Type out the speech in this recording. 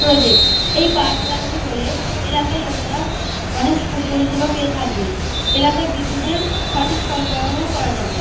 Project. এই power plant -টি হলে এলাকার লোকেরা অনেক সুপরিষেবা পেয়ে থাকবে। এলাকায় বিদ্যুতের সঠিক সরবরাহও করা যাবে।